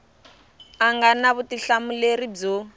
a nga na vutihlamuleri byo